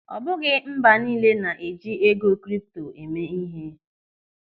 Ọ bụghị mba niile na-eji ego kripto eme ihe.